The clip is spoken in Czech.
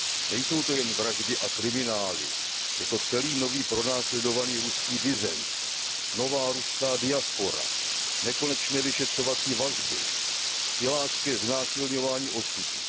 Nejsou to jen vraždy a kriminály, je to celý nový pronásledovaný ruský disent, nová ruská diaspora, nekonečné vyšetřovací vazby, silácké znásilňování osudů.